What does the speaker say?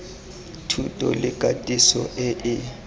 thuto le katiso e e